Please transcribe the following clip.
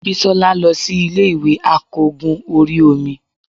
bisola losí Ilé ìwè akogún orí omí